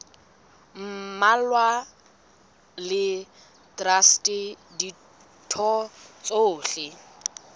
mmalwa le traste ditho tsohle